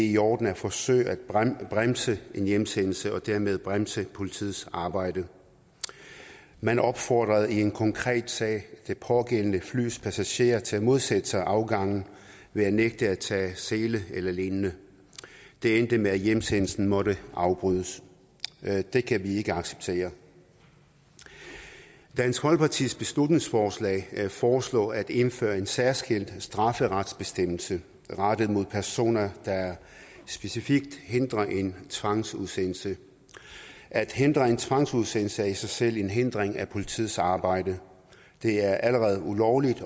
i orden at forsøge at bremse en hjemsendelse og dermed bremse politiets arbejde man opfordrede i en konkret sag det pågældende flys passagerer til at modsætte sig afgangen ved at nægte at tage sele lignende det endte med at hjemsendelsen måtte afbrydes det kan vi ikke acceptere dansk folkepartis beslutningsforslag foreslår at indføre en særskilt strafferetsbestemmelse rettet mod personer der specifikt hindrer en tvangsudsendelse at hindre en tvangsudsendelse er i sig selv en hindring af politiets arbejde det er allerede ulovligt